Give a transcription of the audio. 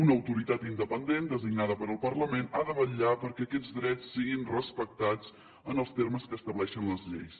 una autoritat independent designada pel parlament ha de vetllar perquè aquests drets siguin respectats en els termes que estableixen les lleis